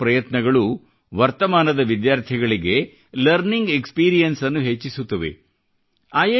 ಈ ಎಲ್ಲ ಪ್ರಯತ್ನಗಳು ವರ್ತಮಾನದ ವಿದ್ಯಾರ್ಥಿಗಳಿಗೆ ಲರ್ನಿಂಗ್ ಎಕ್ಸಪೀರಿಯನ್ಸನ್ನು ಹೆಚ್ಚಿಸುತ್ತವೆ